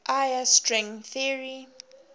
iia string theory